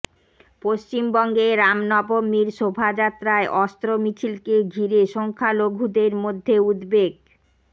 পশ্চিমবঙ্গে রামনবমীর শোভাযাত্রায় অস্ত্র মিছিলকে ঘিরে সংখ্যালঘুদের মধ্যে উদ্বেগ